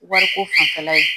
Wariko fanfɛla ye